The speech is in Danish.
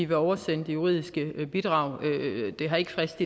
vil oversende det juridiske bidrag det har ikke frist